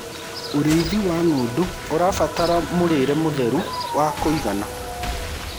ũrĩithi wa ng'ondu ũrabatara mũrĩre mũtheru wa kũigana